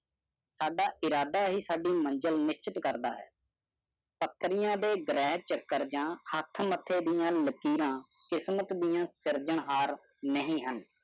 ਸਾਡਾ ਇਰਾਦਾ ਹੀ ਸਾਡੇ ਮੰਜਿਲ ਨਿੱਛਚਿਤ ਕਰਦਾ ਹੈ ਦੇ ਗਰੇ ਚੱਕਰ ਯਾ ਹੇਠ ਮੱਥੇ ਦੀਆ ਲਕੀਰਾਂ ਕਿਸਮਤ ਦੀਆਂ ਸਿਰਜਣ ਹਰ ਨਹੀਂ ਹਨ